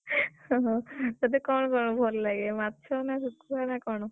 ତତେ କଣ କଣ ଭଲ ଲାଗେ, ମାଛ ନା ଶୁଖୁଆ ନା କଣ?